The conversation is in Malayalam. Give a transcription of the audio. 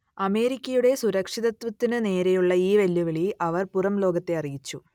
അമേരിക്കയുടെ സുരക്ഷിതത്വത്തിനു നേരെയുള്ള ഈ വെല്ലുവിളി അവർ പുറംലോകത്തെ അറിയിച്ചു